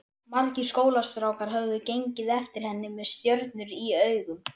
Margir skólastrákar höfðu gengið eftir henni með stjörnur í augum.